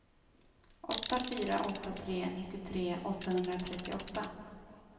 åtta fyra åtta tre nittiotre åttahundratrettioåtta